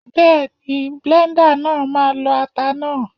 Bẹ́ẹ̀ni, bléńdà náà ma lọ ata náà.